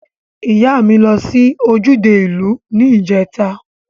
Iya mi lo si ojude iu ni ijeta.